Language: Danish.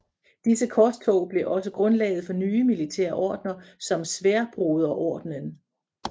Disse korstog blev også grundlaget for nye militære ordener som Sværdbroderordenen